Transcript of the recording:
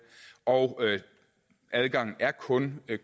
og adgangen er kun